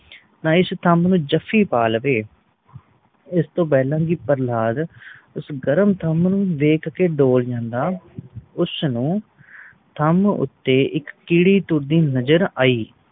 ਤਾ ਇਸ ਥਮ ਨੂੰ ਜਹਫੀ ਪਾ ਲਵੇ ਉਸ ਤੋਂ ਪਹਿਲਾ ਕਿ ਪ੍ਰਹਲਾਦ ਉਸ ਗਰਮ ਥਮ ਨੂੰ ਵੇਖ ਕ ਡੋਲ ਜਾਂਦਾ ਉਸ ਨੂੰ ਥਮ ਉਤੇ ਇਕ ਕੀੜੀ ਤੁਰਦੀ ਨਜ਼ਰ ਆਈ